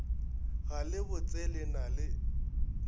ga le botsele na le